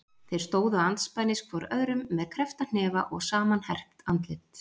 Þeir stóðu andspænis hvor öðrum með kreppta hnefa og samanherpt andlit.